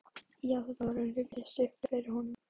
Já, þetta var að rifjast upp fyrir honum.